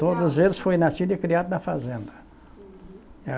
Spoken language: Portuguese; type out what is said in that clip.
Todos eles foram nascidos e criados na fazenda. Uhum.